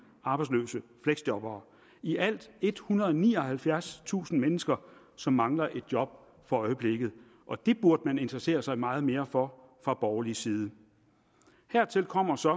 arbejdsløse fleksjobbere der i alt ethundrede og nioghalvfjerdstusind mennesker som mangler et job for øjeblikket og det burde man interessere sig meget mere for fra borgerlig side hertil kommer så